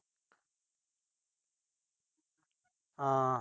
ਹਾਂ।